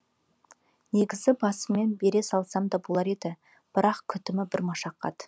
негізі басымен бере салсам да болар еді бірақ күтімі бір машақат